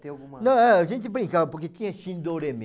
alguma... Não, a gente brincava porque tinha